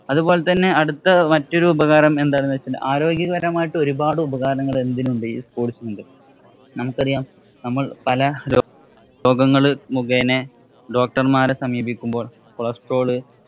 അതുപോലെ അടുത്ത മറ്റൊരു ഉപകാരം എന്ന് വച്ചാല്‍ ആരോഗ്യകരമായിട്ട് ഒരുപാട് ഉപകാരങ്ങള്‍ എന്തിനു ഉണ്ട്. ഈ sports ഇനുണ്ട്. നമുക്കറിയാം നമ്മള്‍ പല രോ പല രോഗങ്ങള്‍ മുഖേന doctor മാരെ സമീപിക്കുമ്പോള്‍ cholestrol